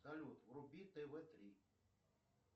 салют вруби тв три